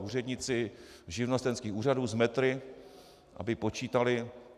Úředníci živnostenských úřadů s metry, aby počítali.